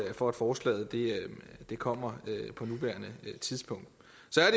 for at forslaget kommer på nuværende tidspunkt så